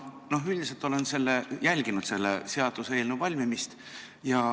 Ma üldiselt olen jälginud selle seaduseelnõu valmimist.